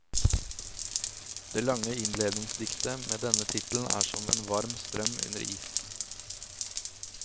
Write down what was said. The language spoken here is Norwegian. Det lange innledningsdiktet med denne tittelen er som en varm strøm under is.